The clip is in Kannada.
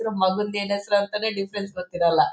ಮಗಂದು ಏನ್ ಹೆಸರು ಅಂತಾನೆ ಡಿಫ್ರೆನ್ಸ್ ಗೊತಿರೋಲ್ಲ.